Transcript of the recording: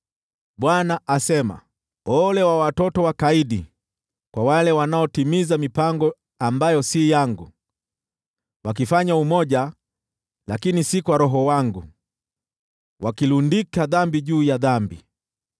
Bwana asema, “Ole kwa watoto wakaidi, kwa wale wanaotimiza mipango ambayo si yangu, wakifanya makubaliano, lakini si kwa Roho wangu, wakilundika dhambi juu ya dhambi,